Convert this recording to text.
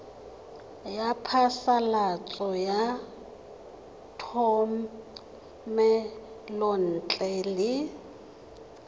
ya phasalatso ya thomelontle le